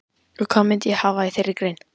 Og hvað ég myndi hafa í þeirri grein?